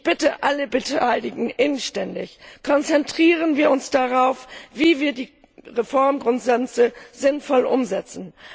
Ich bitte alle Beteiligten inständig Konzentrieren wir uns darauf, wie wir die Reformgrundsätze sinnvoll umsetzen.